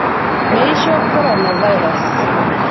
Meeisho korona virus